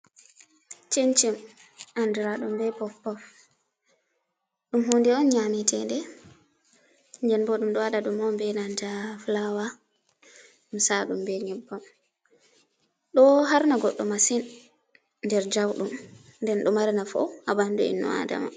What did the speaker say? chim-chim andra ɗum be pof-pof. Ɗum hunde on nyamitede. Den bo ɗum ɗo waɗa ɗum on be nanta fulawa. Ɗum ɗo sa'a be nyebbam. Ɗo harna goɗɗo masin nder jaudum. Nden ɗo mari nafu haɓandu innu Adama.